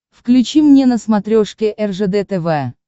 включи мне на смотрешке ржд тв